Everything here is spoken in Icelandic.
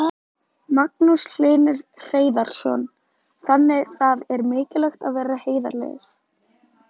Magnús Hlynur Hreiðarsson: Þannig það er mikilvægt að vera heiðarlegur?